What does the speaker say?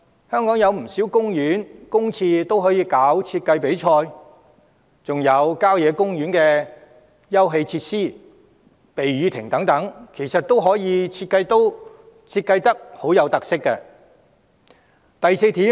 香港有不少公園、公廁，政府均可舉辦設計比賽，還有郊野公園的休憩設施、避雨亭等，其實都可成為富有特色的設計項目。